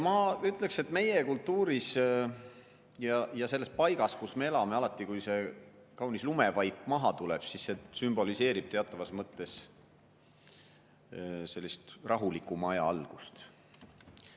Ma ütleksin, et meie kultuuris ja selles paigas, kus me elame, alati, kui see kaunis lumevaip maha tuleb, siis see sümboliseerib teatavas mõttes rahulikuma aja algust.